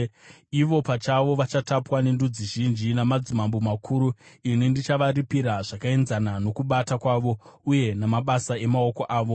Ivo pachavo vachatapwa nendudzi zhinji namadzimambo makuru; ini ndichavaripira zvakaenzana nokubata kwavo uye namabasa emaoko avo.”